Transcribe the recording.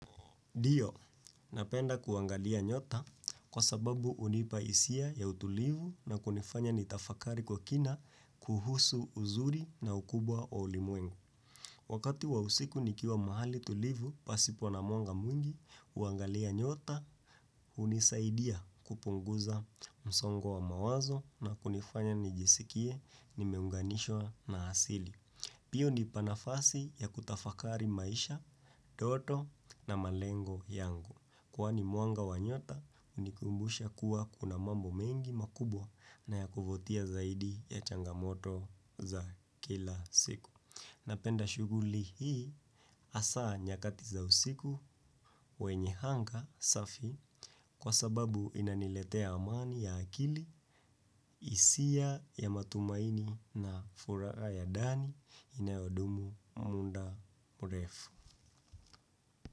Dio, napenda kuangalia nyota kwa sababu hunipa hisia ya utulivu na kunifanya nitafakari kwa kina kuhusu uzuri na ukubwa wa ulimwengu. Wakati wa usiku nikiwa mahali tulivu, pasipo na mwanga mwingi, uangalia nyota, unisaidia kupunguza msongo wa mawazo na kunifanya nijisikie nimeunganishwa na hasili. Pia unipa nafasi ya kutafakari maisha, doto na malengo yangu. Kwani muanga wa nyota, unikumbusha kuwa kuna mambo mengi makubwa na ya kuvutia zaidi ya changamoto za kila siku. Napenda shuguli hii hasa nyakati za usiku wenye hanga safi kwa sababu inaniletea amani ya akili, isia ya matumaini na furaha ya dani inayodumu muda mrefu.